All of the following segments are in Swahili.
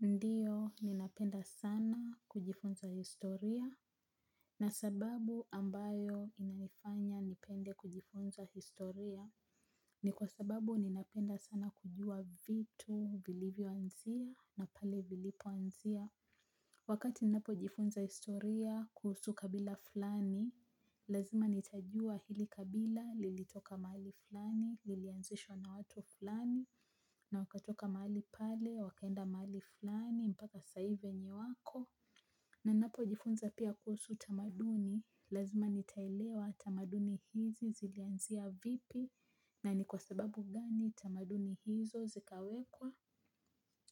Ndiyo, ninapenda sana kujifunza historia. Na sababu ambayo inanifanya nipende kujifunza historia, ni kwa sababu ninapenda sana kujua vitu vilivyoanzia na pale vilipoanzia. Wakati ninapojifunza historia kuhusu kabila fulani, lazima nitajua hili kabila lilitoka mahali fulani, lilianzishwa na watu fulani, na wakatoka mahali pale, wakaenda mahali fulani, mpaka saa hiiivenye wako. Ninapojifunza pia kuhusu tamaduni, lazima nitaelewa tamaduni hizi zilianzia vipi. Na ni kwa sababu gani tamaduni hizo zikawekwa.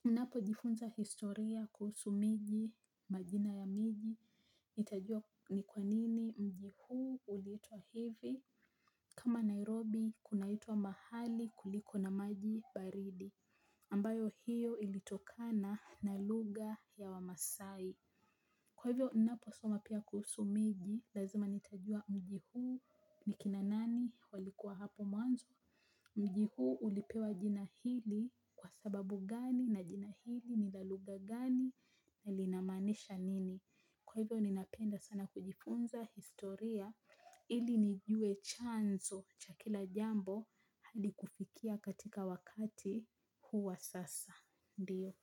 Na napojifunza historia kuhusu miji, majina ya miji, nitajua ni kwanini mji huu uliitwa hivi. Kama Nairobi, kunaitwa mahali kuliko na maji baridi ambayo hio ilitokana na lugha ya wamasaai. Kwa hivyo ninaposoma pia kuhusu miji, lazima nitajua mji huu ni kina nani walikuwa hapo mwanzo. Mji hu ulipewa jina hili kwa sababu gani na jina hili ni la lugha gani na linamaanisha nini. Kwa hivyo ninapenda sana kujifunza historia ili nijue chanzo cha kila jambo hadi kufikia katika wakati huu wa sasa, ndio.